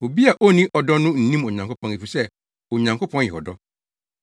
Obi a onni ɔdɔ no nnim Onyankopɔn efisɛ Onyankopɔn yɛ ɔdɔ.